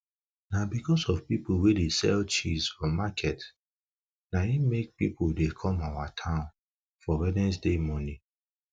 na becos of people wey dey sell cheese for market an em make people dey come our town for wednesday morning